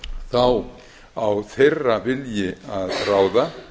þá á þeirra vilji að ráða